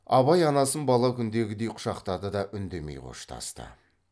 абай анасын бала күндегідей құшақтады да үндемей қоштасты